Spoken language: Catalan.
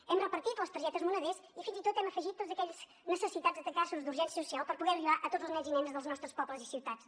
hem repartit les targetes moneders i fins i tot hi hem afegit tots aquells necessitats de casos d’urgència social per poder arribar a tots els nens i nenes dels nostres pobles i ciutats